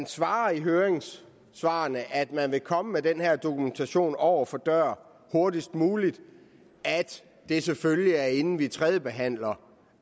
svar i høringssvarene at man vil komme med den her dokumentation over for dør hurtigst muligt og at det selvfølgelig er inden vi tredjebehandler